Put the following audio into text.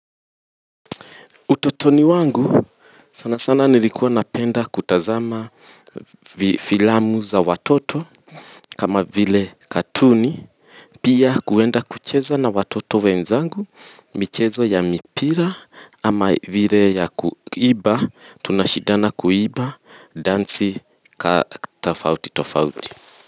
Utotoni wangu sana sana nilikuwa napenda kutazama filamu za watoto kama vile katuni pia kwenda kucheza na watoto wenzangu michezo ya mipira kama vile ya kuimba tunashidana kuimba dansi ka tofauti tofauti.